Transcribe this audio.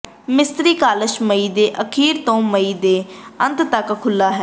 ਮਿਸਤਰੀ ਕਾਸਲ ਮਈ ਦੇ ਅਖੀਰ ਤੋਂ ਮਈ ਦੇ ਅੰਤ ਤਕ ਖੁੱਲ੍ਹਾ ਹੈ